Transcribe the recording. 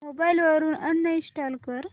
mobile वरून uninstall कर